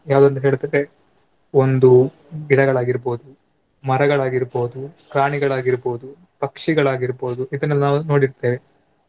ಯಾವುದಂತ ಹೇಳಿದ್ರೆ ಒಂದು ಗಿಡಗಳಾಗಿರ್ಬೋದು, ಮರಗಳಾಗಿಗಿರ್ಬೋದು ಪ್ರಾಣಿಗಳಾಗಿರ್ಬೋದು, ಪಕ್ಷಿಗಳಾಗಿರ್ಬೋದು ಇದನ್ನೆಲ್ಲ ನಾವು ನೋಡಿರ್ತೇವೆ.